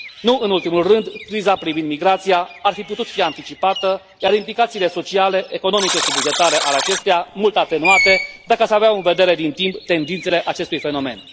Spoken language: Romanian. Nu în ultimul rând, criza privind migrația ar fi putut fi anticipată, iar implicațiile sociale, economice și bugetare ale acesteia mult atenuate, dacă se aveau în vedere din timp tendințele acestui fenomen.